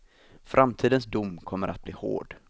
Framtidens dom kommer att bli hård.